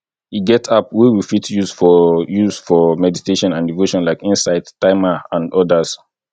e get app wey we fit use for use for meditation and devotion like insight timer and odas